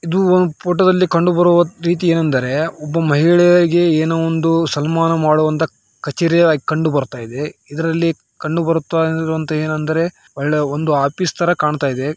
ಇದು ಒಂದು ಪೋಟೋದಲ್ಲಿ ಕಂಡು ಬರುವ ರೀತಿ ಏನೆಂದರೆ ಒಬ್ಬ ಮಹಿಳೆಯಾಗಿ ಏನೋ ಒಂದು ಸನ್ಮಾನ ಮಾಡವಂತ ಕಛೇರಿ ಕಂಡುಬರುತ್ತಿದೆ ಇದ್ರಲ್ಲಿ ಕಂಡು ಬರುತ್ತಿರುವುದು ಏನೆಂದರೆ ಒಂದು ಒಳ್ಳೆ ಆಫೀಸ್‌ ತರ ಕಾಣ್ತಾ ಇದೆ.